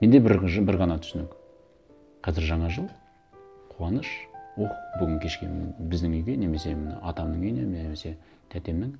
менде бір бір ғана түсінік қазір жаңа жыл қуаныш ох бүгін кешке м біздің үйге немесе міне атамның үйіне немесе тәтемнің